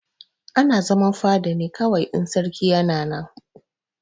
Ana zaman fada ne kawai in sarki yana nan.